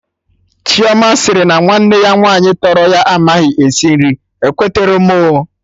Chioma sịrị na nwanne ya nwaanyị tọrọ ya amaghị esi nri, ekweterọ m oo